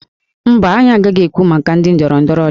Mba, anyị agaghị ekwu maka ndị ndọrọ ndọrọ ọchịchị